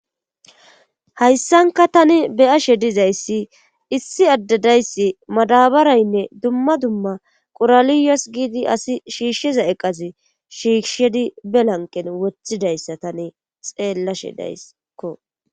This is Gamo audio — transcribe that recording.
hayssanka tani beyashe dizayssi issi addedayssi madabaraynne dumma dumma qoraliyos giidi asi shiishsheza eqazi shiishshedi belanqen wothidayssa tani xeellashe dayssekko